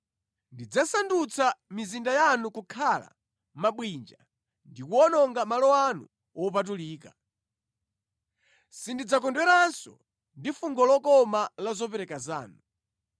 Ndidzasandutsa mizinda yanu kukhala mabwinja ndi kuwononga malo anu wopatulika. Sindidzakondweranso ndi fungo lokoma la zopereka zanu.